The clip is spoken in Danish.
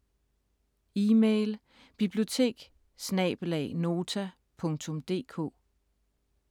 Email: biblioteket@nota.dk